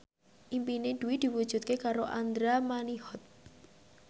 impine Dwi diwujudke karo Andra Manihot